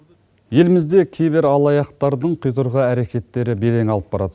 елімізде кибералаяқтардың құйдырғы әрекеттері белең алып барады